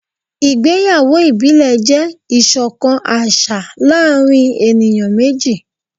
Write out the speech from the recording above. ìgbéyàwó ibile jẹ iṣọkan aṣa láàrin eniyan meji.